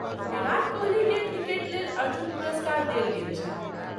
विराट कोहलीकेँ क्रिकेट लेल अर्जुन पुरस्कार देल गेल छनि।